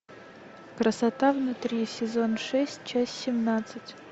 красота внутри сезон шесть часть семнадцать